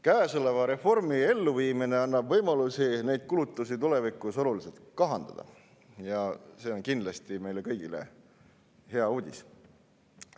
Käesoleva reformi elluviimine annab võimalusi neid kulutusi tulevikus oluliselt kahandada ja see on kindlasti meile kõigile hea uudis.